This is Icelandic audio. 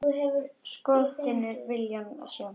Skortir viljann til að sjá.